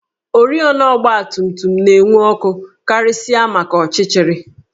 Oriọna ọgbatumtum na-enwu ọkụ karịsịa maka ọchịchịrị